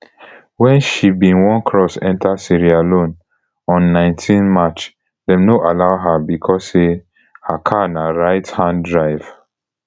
wen she bin wan cross enta sierra leone on nineteen march dem no allow her becos say her car na right hand drive